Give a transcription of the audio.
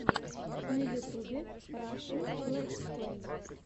на ютубе рашн летсплэй